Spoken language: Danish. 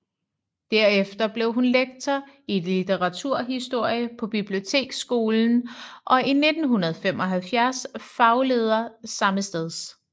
Derefter blev hun lektor i litteraturhistorie på biblioteksskolen og i 1975 fagleder sammesteds